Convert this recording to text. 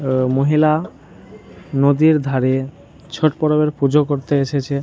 আঃ মহিলা নদীর ধারে ছট পরবের পূজো করতে এসেছে ।